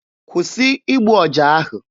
Kwụsị igbu ọja ahụ!